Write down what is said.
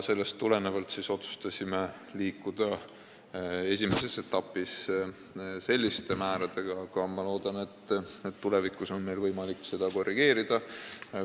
Sellest tulenevalt otsustasime esimeses etapis liikuda selliste määradega, aga ma loodan, et tulevikus on meil võimalik seda korrigeerida.